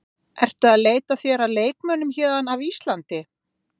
Ertu að leita þér að leikmönnum héðan af Íslandi?